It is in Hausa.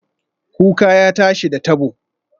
Kuka ya tashi, da tabo